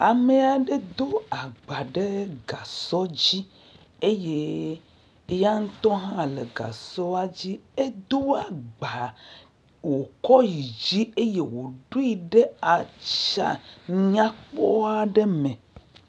amɛ aɖɛ dó agba ɖe gasɔ dzi eye yaŋtɔ hã le gasɔa dzi edó agba wokɔ yi dzi eye wodoe ɖe atsã nyakpɔ ɖe me